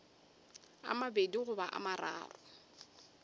a mabedi goba a mararo